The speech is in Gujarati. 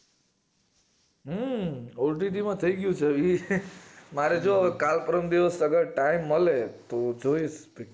હમ OTT માં થઈ ગયું છે release મારે જો કાલ પરમ દિવશ કદાચ time મળે તો જોઇશ picture